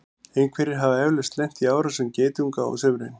einhverjir hafa eflaust lent í árásum geitunga á sumrin